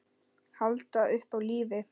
Halda upp á lífið.